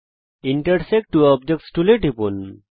intersect two objects টুলে টিপুন